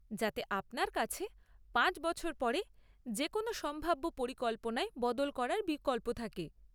যাতে আপনার কাছে পাঁচ বছর পরে যে কোনো সম্ভাব্য পরিকল্পনায় বদল করার বিকল্প থাকে।